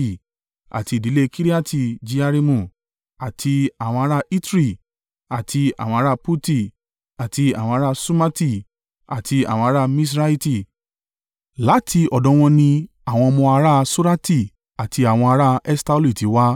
Àti ìdílé Kiriati-Jearimu: àti àwọn ara Itri, àti àwọn ará Puti, àti àwọn ará Ṣumati àti àwọn ará Miṣraiti: láti ọ̀dọ̀ wọn ni àwọn ọmọ ará Sorati àti àwọn ará Eṣtaoli ti wá.